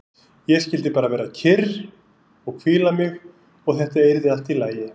Ég skyldi bara vera kyrr og hvíla mig og þetta yrði allt í lagi.